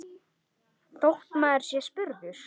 Þóra: Þótt maður sé spurður?